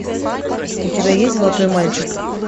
у тебя есть золотой мальчик